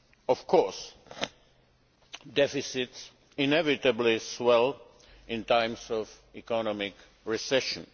Of course, deficits inevitably swell in times of economic recession.